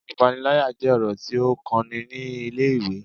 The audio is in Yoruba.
Ipanilaya jẹ ọrọ ti o kan ni ile-iwe